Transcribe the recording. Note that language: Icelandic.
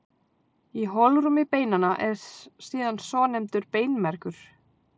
Í holrúmi beinanna er síðan svonefndur beinmergur.